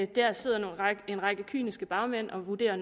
der sidder en række kyniske bagmænd og vurderer